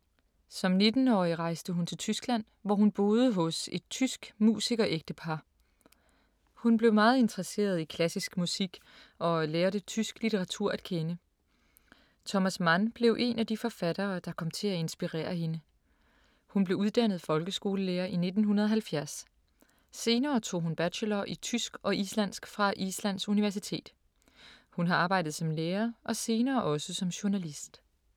Som 19-årig rejste hun til Tyskland, hvor hun boede hos et tysk musikerægtepar. Hun blev meget interesseret i klassisk musik og lærte tysk litteratur at kende. Thomas Mann blev en af de forfattere, der kom til at inspirere hende. Hun blev uddannet folkeskolelærer i 1970. Senere tog hun bachelor i tysk og islandsk fra Islands Universitet. Hun har arbejdet som lærer og senere også som journalist.